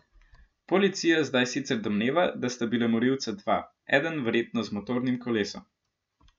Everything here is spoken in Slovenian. Policija zdaj sicer domneva, da sta bila morilca dva, eden verjetno z motornim kolesom.